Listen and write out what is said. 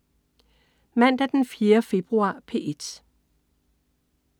Mandag den 4. februar - P1: